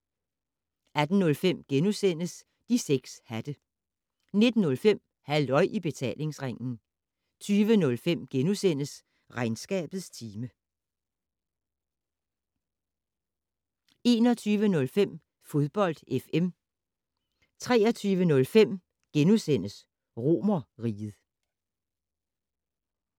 18:05: De 6 hatte * 19:05: Halløj I Betalingsringen 20:05: Regnskabets time * 21:05: Fodbold FM 23:05: Romerriget *